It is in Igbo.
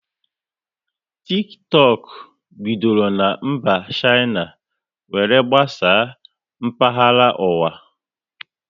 Tiktọk bidoro na mba Shaina were gbasaa mkpahara ụwa